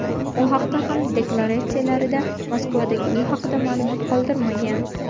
U ham deklaratsiyalarida Moskvadagi uyi haqida ma’lumot qoldirmagan.